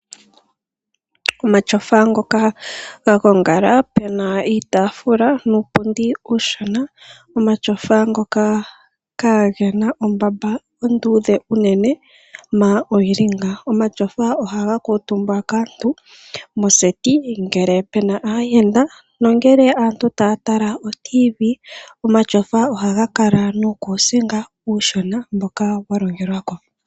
Omatyofa ngoka ga gongala pu na uutaafula nuupundi uushona. Omatyofa ngoka kaage na ombamba onduudhe unene na oyi li ngaa. Omatyofa ohaga kuutumbwa kaantu moseti ngele pu na aayenda nongele aantu taya tala otiivii. Omatyofa ohaga kala nuukuusinga uushona mboka wa longelwa ko.